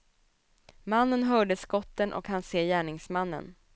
Mannen hörde skotten och hann se gärningsmannen.